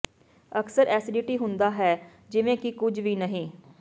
ਅਕਸਰ ਐਸਟੀਡੀ ਹੁੰਦਾ ਹੈ ਜਿਵੇਂ ਕਿ ਕੁਝ ਵੀ ਨਹੀਂ